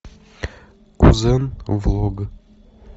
кузен влог